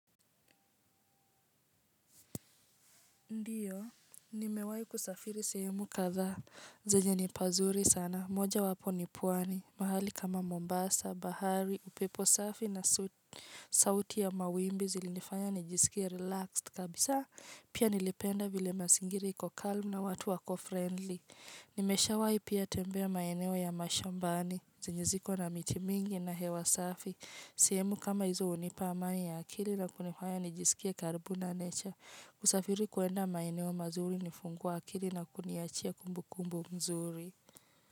Ndiyo, nimewai kusafiri sehemu kadha, zenye nipazuri sana, moja wapo nipuani, mahali kama Mombasa, Bahari, upepo safi na sauti ya mawimbi zilinifanya nijisikia relaxed kabisa, pia nilipenda vile masingiri ikokalm na watu wako friendly. Nimesha wai pia tembea maeneo ya mashambani, zenye ziko na miti mingi na hewa safi, sehemu kama hizo unipa amani ya akili na kunifanya nijisikia karbu na nature. Usafiri kuenda maineo mazuri nifungu wa akili na kuniachia kumbu kumbu mzuri.